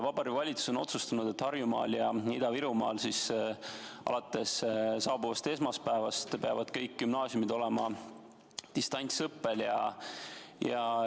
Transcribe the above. Vabariigi Valitsus on otsustanud, et Harjumaal ja Ida-Virumaal peavad alates saabuvast esmaspäevast kõik gümnaasiumid olema distantsõppel.